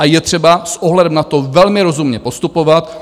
A je třeba s ohledem na to velmi rozumně postupovat.